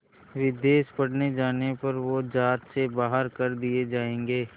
विदेश पढ़ने जाने पर वो ज़ात से बाहर कर दिए जाएंगे